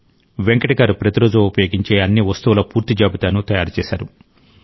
వెంకట్ గారు ప్రతిరోజూ ఉపయోగించే అన్ని వస్తువుల పూర్తి జాబితాను తయారు చేశారు